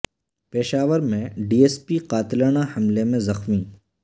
پشاور میں D S P قاتلانہ حملے میں زخمی